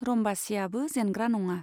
रम्बासीयाबो जेनग्रा नङा।